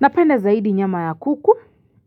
Napenda zaidi nyama ya kuku